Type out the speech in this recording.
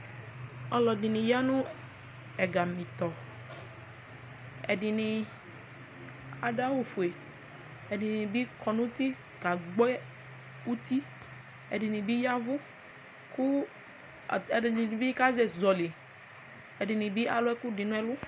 ɔloɛdini ya no ɛgami tɔ ɛdini ado awu fue ɛdini bi kɔ n'uti kagbɔ uti ɛdini bi yavu kò ɛdini bi kazɛ zɔli ɛdini bi alo ɛkò di n'ɛlu